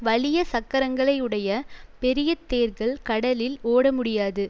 வலிய சக்கரங்களையுடைய பெரிய தேர்கள் கடலில் ஓட முடியாது